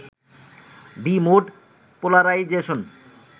B-mode polarisation